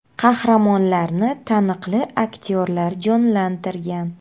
Qahramonlarni taniqli aktyorlar jonlantirgan.